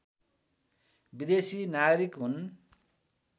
विदेशी नागरिक हुन्